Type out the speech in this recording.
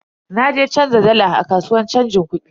Na je canza dala a kasuwan chanjin kudi.